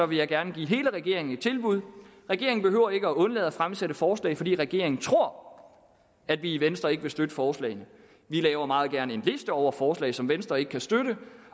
vil jeg gerne give hele regeringen et tilbud regeringen behøver ikke at undlade at fremsætte forslag fordi regeringen tror at vi i venstre ikke vil støtte forslagene vi laver meget gerne en liste over forslag som venstre ikke kan støtte